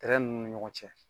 Tɛrɛ ninnu ni ɲɔgɔn cɛ